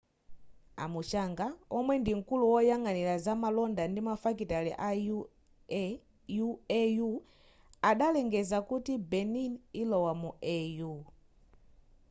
a muchanga omwe ndimkulu woyang'anira za malonda ndi mafakitale ku au adalengeza kuti benin ilowa mu au